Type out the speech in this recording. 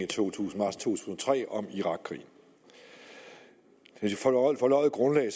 to tusind og tre om irakkrigen et forløjet grundlag